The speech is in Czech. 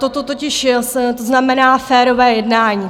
Toto totiž znamená férové jednání.